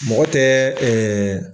Mɔgɔ tɛ